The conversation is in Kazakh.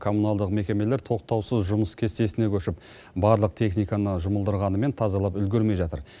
комуналдық мекемелер тоқтаусыз жұмыс кестесіне көшіп барлық техниканы жұмылдырғанымен тазалап үлгермей жатыр